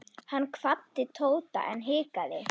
Hann kvaddi Tóta en hikaði.